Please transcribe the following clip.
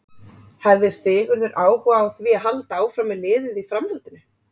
Hefði Sigurður áhuga á því að halda áfram með liðið í framhaldinu?